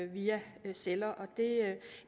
via celler og